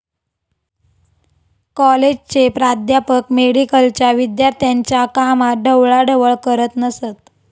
कॉलेजचे प्राध्यापक मेडिकलच्या विद्यार्थ्यांच्या कामात ढवळाढवळ करत नसत